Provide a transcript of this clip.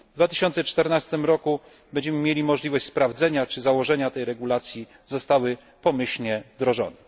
W 2014 roku będziemy mieli możliwość sprawdzenia czy założenia tej regulacji zostały pomyślnie wdrożone.